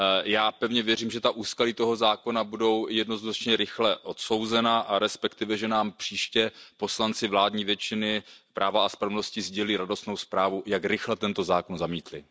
Já pevně věřím, že úskalí toho zákona budou jednoznačně rychle odsouzena, a respektive že nám příště poslanci vládní většiny Práva a spravedlnosti sdělí radostnou zprávu, jak rychle tento zákon zamítli.